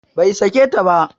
Bai sake ta ba